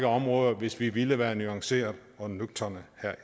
områder hvis vi ville være nuancerede og nøgterne herre